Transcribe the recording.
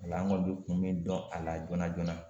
O la an kɔni be kun min dɔn a la joona joona